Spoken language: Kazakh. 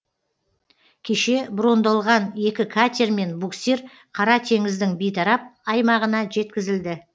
кеше брондалған екі катер мен буксир қара теңіздің бейтарап аймағына жеткізілді